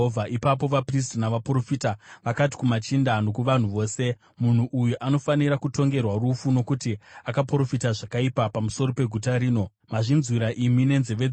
Ipapo vaprista navaprofita vakati kumachinda nokuvanhu vose, “Munhu uyu anofanira kutongerwa rufu nokuti akaprofita zvakaipa pamusoro peguta rino. Mazvinzwira imi nenzeve dzenyu!”